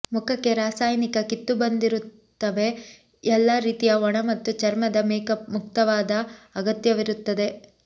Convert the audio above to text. ಮುಖಕ್ಕೆ ರಾಸಾಯನಿಕ ಕಿತ್ತುಬಂದಿರುತ್ತವೆ ಎಲ್ಲ ರೀತಿಯ ಒಣ ಮತ್ತು ಚರ್ಮದ ಮೇಕ್ಅಪ್ ಮುಕ್ತವಾದ ಅಗತ್ಯವಿರುತ್ತದೆ